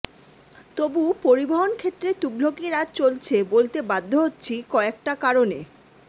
তবু পরিবহন ক্ষেত্রে তুঘলকি রাজ চলছে বলতে বাধ্য হচ্ছি কযেকটা কারণে